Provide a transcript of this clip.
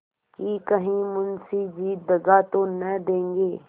कि कहीं मुंशी जी दगा तो न देंगे